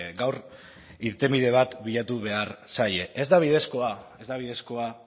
gaur irtenbide bat bilatu behar zaie ez da bidezkoa ez da bidezkoa